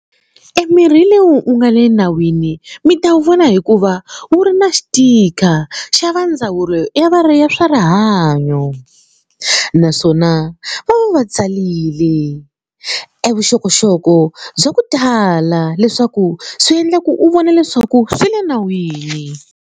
E mirhi leyi u nga le nawini mi ta wu vona hikuva wu ri na xitika xa va ndzawulo ya ya swa rihanyo naswona va va va tsarile e vuxokoxoko bya ku tala leswaku swi endla ku u vona leswaku swi le nawini.